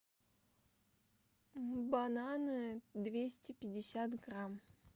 бананы двести пятьдесят грамм